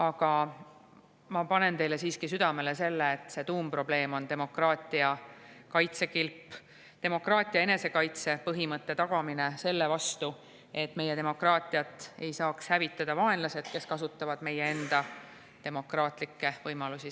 Aga ma panen teile siiski südamele, et see tuumprobleem on demokraatia kaitsekilbi, demokraatia enesekaitse põhimõtte tagamine, et meie demokraatiat ei saaks hävitada vaenlased, kes kasutavad selleks meie enda demokraatia võimalusi.